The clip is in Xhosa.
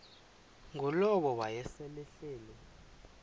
ngulowo wayesel ehleli